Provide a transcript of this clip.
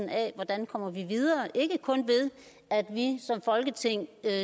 af hvordan vi kommer videre ikke kun ved at vi som folketing